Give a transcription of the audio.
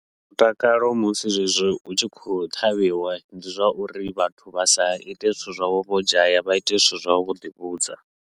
Mutakalo musi zwezwi hutshi khou ṱhavhiwa, ndi zwa uri vhathu vha sa ite zwithu zwavho vho dzhaya vha ite zwithu zwavho vhoḓi vhudza.